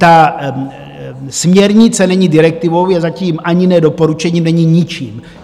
Ta směrnice není direktivou, je zatím ani ne doporučením, není ničím.